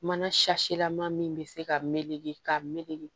Mana laman min bɛ se ka meleke ka meleke